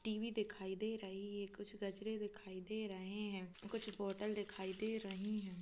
TV दिखाई दे रही है कुछ गजरे दिखाई दे रहे हैं कुछ पोर्टल दिखाई दे रही है।